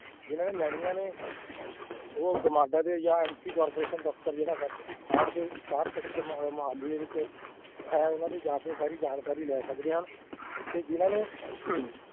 ਜਿਹਨਾਂ ਨੇ ਲੈਣੀਆਂ ਨੇ ਉਹ GMADA ਜਾਂ MC corporation ਦਫ਼ਤਰ ਜਿਹੜਾ ਸਾਡੇ ਇਕਾਹਟ sector ਮੁਹ~ ਮੁਹਾਲੀ ਦੇ ਵਿੱਚ ਇਹ ਉਹਨਾਂ ਦੀ ਜਾ ਕੇ ਸਾਰੀ ਜਾਣਕਾਰੀ ਲੈ ਸਕਦੇ ਹਨ, ਤੇ ਜਿਹਨਾਂ ਨੂੰ